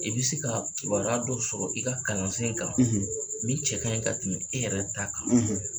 I be se kaa kibaruya dɔ sɔrɔ i ka kalansen kan, min cɛ kaɲi ka tɛmɛ e yɛrɛ ta kan.